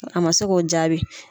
A ma se k'o jaabi.